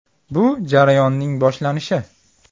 Bu jarayonning boshlanishi.